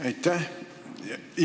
Aitäh!